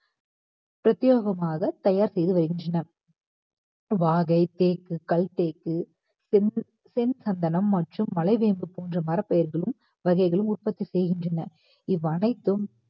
பிரத்தியேகமாக தயார் செய்த வருகின்றனர் வாகை தேக்கு கல் தேக்கு சென்~ சென் சந்தனம் மற்றும் மலைவேம்பு போன்ற மரப்பெயர்களும் வகைகளும் உற்பத்தி செய்கின்றனர் இவ்வனைத்தும்